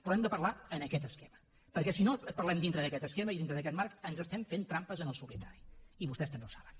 però hem de parlar en aquest esquema perquè si no parlem dintre d’aquest esquema i dintre d’aquest marc ens estem fent trampes en el solitari i vostès també ho saben